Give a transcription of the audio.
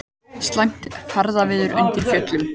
Slæmt ferðaveður undir Fjöllunum